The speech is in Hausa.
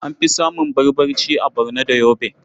An fi samun Barbarci a Barno da Yobe.